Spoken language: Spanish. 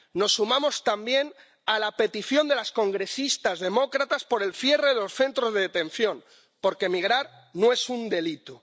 Nos sumamos también a la petición de las congresistas demócratas por el cierre de los centros de detención, porque migrar no es un delito.